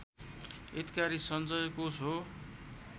हितकारी सञ्चयकोष हो